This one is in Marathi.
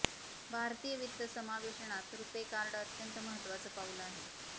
भारतीय वित्त समावेशनात रुपे कार्ड अत्यंत महत्त्वाचं पाऊल आहे